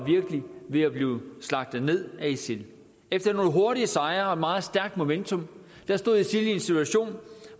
ved at blive slagtet ned af isil efter nogle hurtige sejre og et meget stærkt momentum stod isil i en situation